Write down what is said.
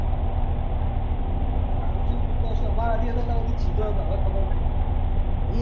ના અર્જુન તો અમારે જોડે હતો ત્યાં સુધી સીધો હતો હવે ખબર નહી